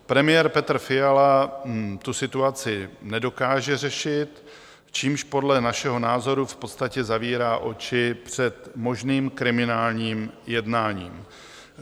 Premiér Petr Fiala tu situaci nedokáže řešit, čímž podle našeho názoru v podstatě zavírá oči před možným kriminálním jednáním.